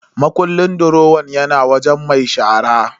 Makullin durowan yana wajen mai shara.